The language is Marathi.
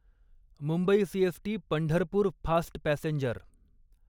Mumbai CST Pandharpur fast passenger